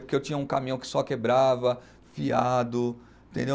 Porque eu tinha um caminhão que só quebrava, fiado, entendeu?